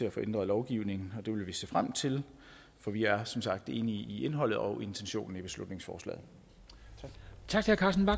at få ændret lovgivningen det vil vi se frem til for vi er som sagt enige i indholdet og intentionen i beslutningsforslaget tak